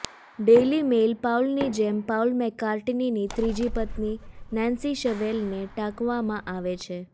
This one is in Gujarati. ડેઇલી મેઇલ પાઉલની જેમ પાઉલ મેકકાર્ટનીની ત્રીજી પત્ની નેન્સી શેવેલને ટાંકવામાં આવે છે